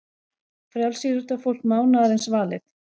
Frjálsíþróttafólk mánaðarins valið